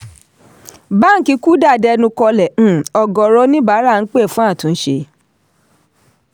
báńkì kuda dẹnu kọlẹ̀ um ọ̀gọ̀ọ̀rọ̀ oníbàárà ń pè fún àtúnṣe.